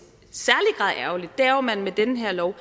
er ærgerligt er jo at man med den her lov